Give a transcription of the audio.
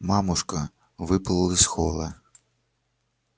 мамушка выплыла из холла